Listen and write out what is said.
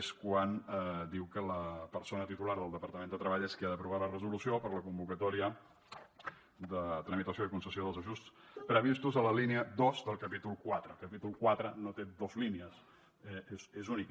és quan diu que la persona titular del departament de treball és qui ha d’aprovar la resolució per a la convocatòria de tramitació i concessió dels ajuts previstos a la línia dos del capítol quatre el capítol quatre no té dos línies és únic